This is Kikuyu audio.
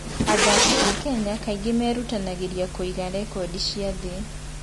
Athaki a Kenya kaingĩ merutanagĩria kũrũga rekondi cia thĩ.